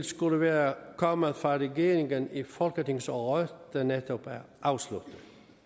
skulle være kommet fra regeringen i folketingsåret der netop er afsluttet